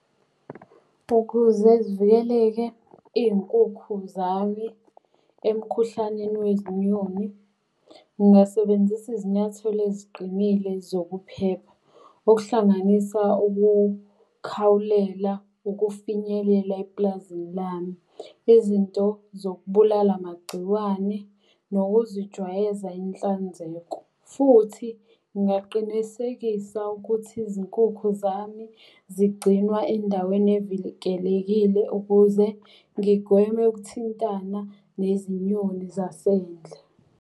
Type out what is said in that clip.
Ukuze zivikeleke iy'nkukhu zami emikhuhlaneni wezinyoni, ngingasebenzisa izinyathelo eziqinile zokuphepha. Okuhlanganisa ukukhawulela, ukufinyelela eplazini lami. Izinto zokubulala amagciwane nokuzijwayeza inhlanzeko. Futhi ngingaqinisekisa ukuthi izinkukhu zami zigcinwa endaweni evikelekile ukuze ngigweme ukuthintana nezinyoni zasendle.